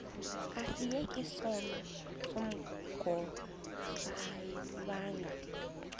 asiyeke sono smgohlwaywanga